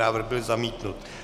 Návrh byl zamítnut.